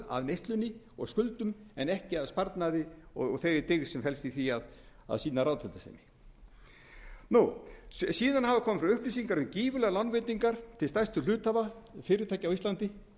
að neyslunni og skuldum en ekki að sparnaði og þeirri dyggð sem felst í því að sýna ráðdeildarsemi síðan hafa komið fram upplýsingar um gífurlegar lánveitingar til stærstu hluthafa fyrirtækja á íslandi